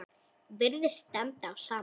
Virðist standa á sama.